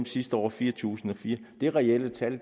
sidste år var fire tusind og fire er reelle tal